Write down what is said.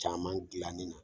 Caman jilannen don